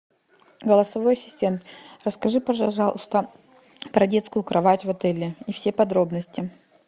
голосовой ассистент расскажи пожалуйста про детскую кровать в отеле и все подробности